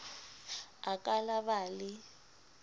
a ka la ba le